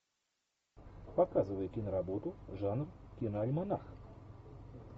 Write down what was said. показывай киноработу жанр киноальманах